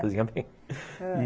Cozinha bem ah